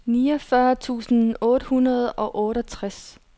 niogfyrre tusind otte hundrede og otteogtres